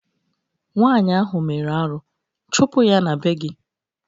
Nwaanyị ahụ mere arụ, chụpụ ya n'be gị!